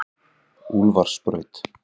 Úlfarsbraut